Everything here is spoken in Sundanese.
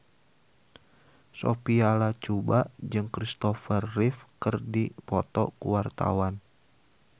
Sophia Latjuba jeung Kristopher Reeve keur dipoto ku wartawan